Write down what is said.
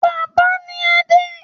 Bàbá ni Adé.